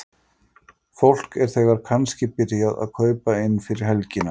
Fólk er þegar kannski byrjað að kaupa inn fyrir helgina?